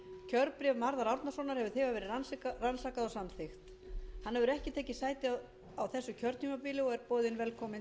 kjörbréf marðar árnasonar hefur þegar verið rannsakað og samþykkt hann hefur ekki tekið sæti áður á þessu kjörtímabili og er boðinn velkominn